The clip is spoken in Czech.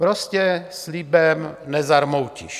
Prostě slibem nezarmoutíš.